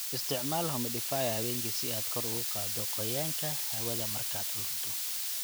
Isticmaal humidifier habeenkii si aad kor ugu qaaddo qoyaanka hawada markaad huruddo.